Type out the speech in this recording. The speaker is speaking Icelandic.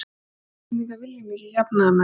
Við Íslendingar viljum ekki jafnaðarmennsku.